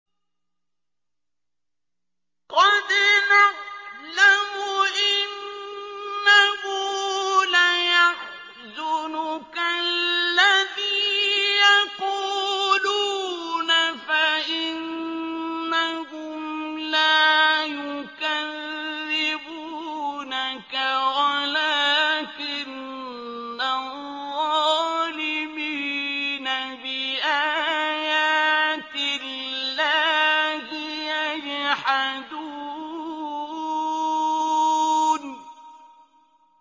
قَدْ نَعْلَمُ إِنَّهُ لَيَحْزُنُكَ الَّذِي يَقُولُونَ ۖ فَإِنَّهُمْ لَا يُكَذِّبُونَكَ وَلَٰكِنَّ الظَّالِمِينَ بِآيَاتِ اللَّهِ يَجْحَدُونَ